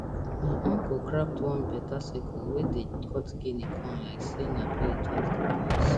my uncle craft one beta sickle wey dey cut guinea corn like say na blade just dey dance